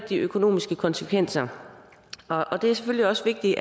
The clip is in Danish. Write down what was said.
de økonomiske konsekvenser og det er selvfølgelig også vigtigt